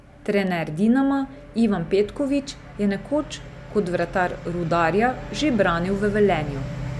Trener Dinama Ivan Petković je nekoč kot vratar Rudarja že branil v Velenju.